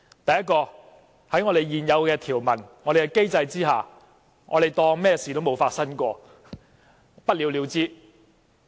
第一，根據現有條文，在我們的機制之下，當作甚麼事情也沒有發生，不了了之。